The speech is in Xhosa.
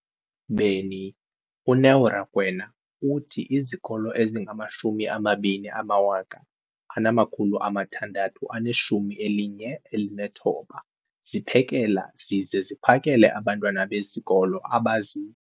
beni, uNeo Rakwena, uthi izikolo ezingama-20 619 ziphekela zize ziphakele abantwana besikolo abazi-